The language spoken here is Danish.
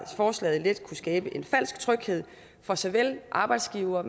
forslaget let kunne skabe en falsk tryghed for såvel arbejdsgivere